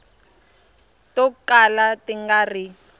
to kala ti nga ri